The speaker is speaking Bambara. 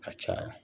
A caya